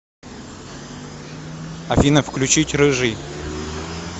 афина включить рыжий